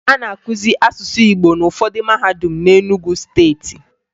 A na-akụzi asụsụ Igbo n'ụfọdụ mahadum na Enugwu Steeti